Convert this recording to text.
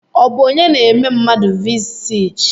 Ọ bụ onye na-eme mmadụ vii sij?